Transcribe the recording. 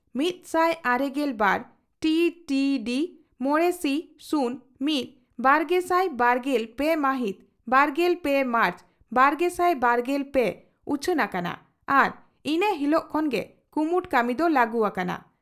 ᱢᱤᱛᱥᱟᱭ ᱟᱨᱮᱜᱮᱞ ᱵᱟᱨ ᱴᱤ ᱰᱤ ᱰᱤ ᱢᱚᱲᱮ ᱥᱤ ᱥᱩᱱ ᱢᱤᱛ ᱵᱟᱨᱜᱮᱥᱟᱭ ᱵᱟᱨᱜᱮᱞ ᱯᱮ ᱢᱟᱦᱤᱛ ᱵᱟᱨᱜᱮᱞ ᱯᱮ ᱢᱟᱨᱪ ᱵᱟᱨᱜᱮᱥᱟᱭ ᱵᱟᱨᱜᱮᱞ ᱯᱮ ᱩᱪᱷᱟᱹᱱ ᱟᱠᱟᱱᱟ ᱟᱨ ᱤᱱᱟᱹ ᱦᱤᱞᱚᱜ ᱠᱷᱚᱱ ᱜᱮ ᱠᱩᱢᱩᱴ ᱠᱟᱹᱢᱤ ᱫᱚ ᱞᱟᱹᱜᱩ ᱟᱠᱟᱱᱟ ᱾